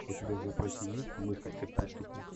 у тебя в запасе есть мыслить как преступник